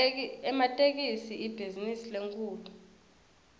ematekisi ibhizinisi lenkhulu